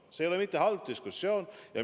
See ei ole mitte halb diskussioon!